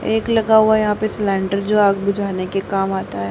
एक लगा हुआ यहां पे सिलेंडर जो आग बुझाने के काम आता है।